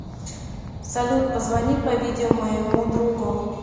салют позвони по видео моему другу